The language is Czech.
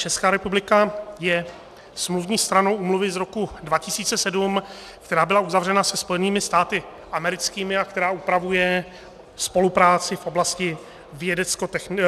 Česká republika je smluvní stranou úmluvy z roku 2007, která byla uzavřena se Spojenými státy americkými a která upravuje spolupráci v oblasti vědeckotechnické.